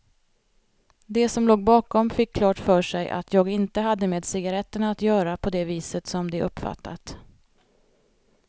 De som låg bakom fick klart för sig att jag inte hade med cigaretterna att göra på det viset som de uppfattat.